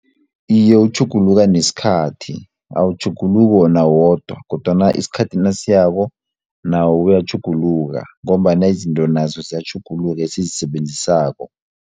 Iye, utjhuguluka nesikhathi awutjhuguluki wona wodwa kodwana isikhathi nasiyako nawo uyatjhuguluka ngombana izinto nazo ziyatjhuguluka esizisebenzisako.